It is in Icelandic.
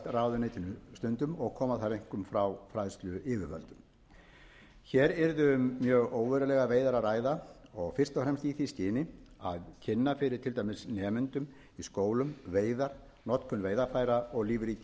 ráðuneytinu stundum og koma þær einkum frá fræðsluyfirvöldum hér yrði um mjög óverulegar veiðar að ræða og fyrst og fremst í því skyni að kynna fyrir til dæmis nemendum í skólum veiðar notkun veiðarfæra og lífríki